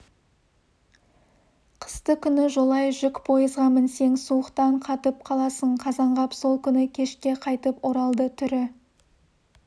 қысты күні жолай жүк пойызға мінсең суықтан қатып қаласың қазанғап сол күні кешке қайтып оралды түрі